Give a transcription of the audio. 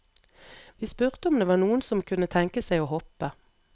Vi spurte om det var noen som kunne tenke seg å hoppe.